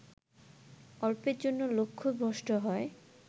অল্পের জন্য লক্ষ্যভ্রষ্ট হয়